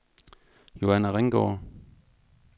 Joanna Ringgaard